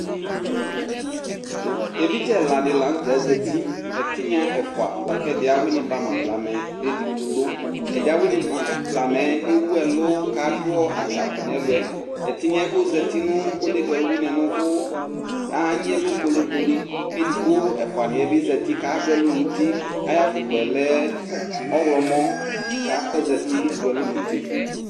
Evidze ɛladi la nutɛ zati ɛtiŋa ɛfua lakɛdi awuini bama blamɛ ɛdiɛ awuni bama blamɛ ewu ɛlu ku adu atsaku nɛlʊ ɛtiŋa yɛ kʊ ɔzati nu onedza ɔluwuini nu ʊvʊ aŋi ɛlu koli koli kedigbo ɛfuaniɛ bi aduɛlu nu uti ayu afʊkpa yɛ lɛ ɔɣomɔ ka ozati dalɔ nuti